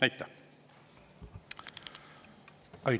Aitäh!